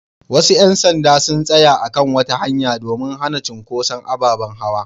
Wasu ƴan sanda sun tsaya a kan wata hanya domin hana cunkuson ababen hawa.